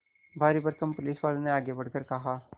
भारीभरकम पुलिसवाले ने आगे बढ़कर कहा